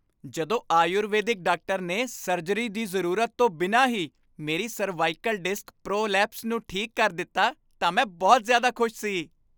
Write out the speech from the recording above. ਜਦੋਂ ਆਯੁਰਵੈਦਿਕ ਡਾਕਟਰ ਨੇ ਸਰਜਰੀ ਦੀ ਜ਼ਰੂਰਤ ਤੋਂ ਬਿਨਾਂ ਹੀ ਮੇਰੀ ਸਰਵਾਈਕਲ ਡਿਸਕ ਪ੍ਰੋਲੈਪਸ ਨੂੰ ਠੀਕ ਕਰ ਦਿੱਤਾ ਤਾਂ ਮੈਂ ਬਹੁਤ ਜ਼ਿਆਦਾ ਖੁਸ਼ ਸੀ।